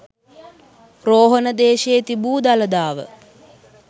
රෝහණ දේශයේ තිබූ දළදාව